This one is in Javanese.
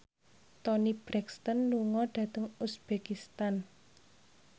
Toni Brexton lunga dhateng uzbekistan